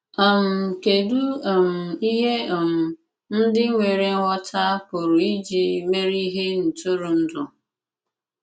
um Kedụ um ihe um ndị nwere nghọta pụrụ iji mere ihe ntụrụndụ?